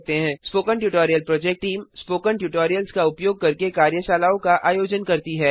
spoken tutorial project team spoken tutorials का उपयोग करके कार्यशालाओं का आयोजन करती है